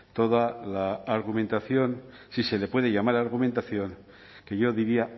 toda la argumentación si se le puede llamar argumentación que yo diría